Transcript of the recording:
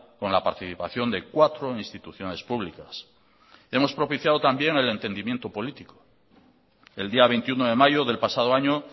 con la participación de cuatro instituciones públicas hemos propiciado también el entendimiento político el día veintiuno de mayo del pasado año